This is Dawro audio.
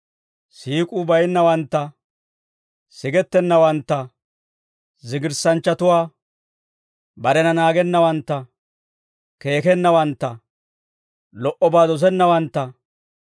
siik'uu baynnawantta, sigettennawantta, zigirssanchchatuwaa, barena naagennawantta, keekennawantta, lo"obaa dosennawantta,